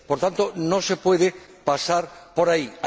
Por tanto, no se puede pasar por ahí.